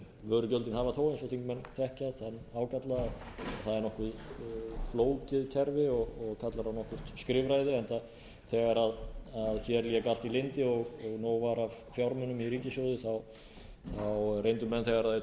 vörugjöldin hafa þó eins og þingmenn þekkja þann ágalla að það er nokkuð flókið kerfi og kallar á nokkurt skrifræði enda þegar hér lék allt í lyndi og nóg var af fjármunum í ríkissjóði reyndu menn þegar þeir